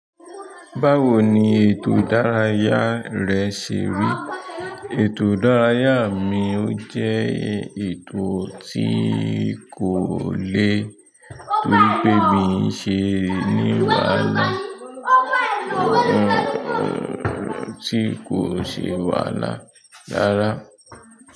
Báwo ni ètò ìdárayá rẹ ṣe rí? Ètò ìdárayá mi ó jẹ́ ètò tí kò le torí pé mi ń ṣe ní wáàlá tí kò sẹ́ wàala rára.